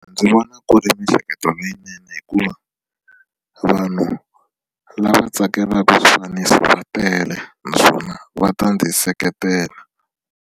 Ndzi vona ku ri miehleketo leyinene hikuva vanhu lava tsakelaka swifaniso va tele naswona va ta ndzi seketela.